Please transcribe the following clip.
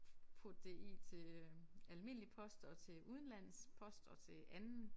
Putte det i til øh almindelig post og til udenlands post og til anden